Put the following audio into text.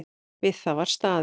Við það var staðið.